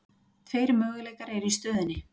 Tveir möguleikar eru í stöðunni.